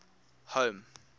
home